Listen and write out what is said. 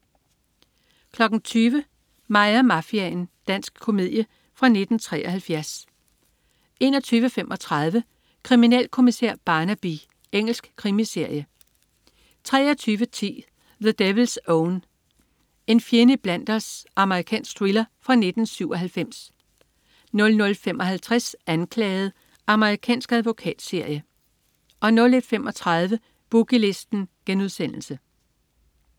20.00 Mig og mafiaen. Dansk komedie fra 1973 21.35 Kriminalkommissær Barnaby. Engelsk krimiserie 23.10 The Devil's Own. En fjende iblandt os. Amerikansk thriller fra 1997 00.55 Anklaget. Amerikansk advokatserie 01.35 Boogie Listen*